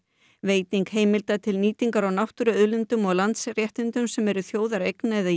veiting heimilda til nýtingar á náttúruauðlindum og landsréttindum sem eru í þjóðareign eða